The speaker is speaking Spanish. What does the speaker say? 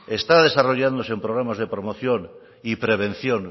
está desarrollándose en programas de promoción y prevención